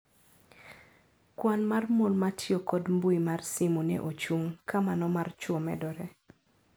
"Kwan mar mon matio kod mbui mar simu ne ochung' ka mano mar chwo medore."